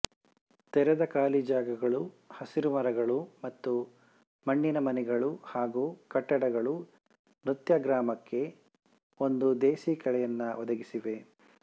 ತೆರೆದ ಖಾಲಿ ಜಾಗಗಳು ಹಸಿರು ಮರಗಳು ಮತ್ತು ಮಣ್ಣಿನ ಮನೆಗಳು ಹಾಗು ಕಟ್ಟಡಗಳು ನೃತ್ಯಗ್ರಾಮಕ್ಕೆ ಒಂದು ದೇಸಿ ಕಳೆಯನ್ನು ಒದಗಿಸಿವೆ